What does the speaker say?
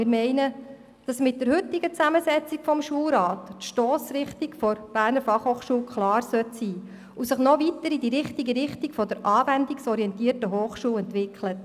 Wir denken, dass die Stossrichtung der BFH mit der heutigen Zusammensetzung des Schulrats klar sein sollte, und dass sie sich noch weiter in die richtige Richtung einer anwendungsorientierten Hochschule entwickelt.